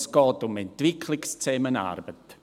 Es geht um Entwicklungszusammenarbeit.